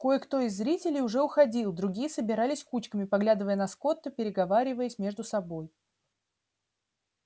кое кто из зрителей уже уходил другие собирались кучками поглядывая на скотта и переговариваясь между собой